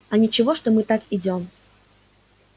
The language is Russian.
а ничего что мы так идём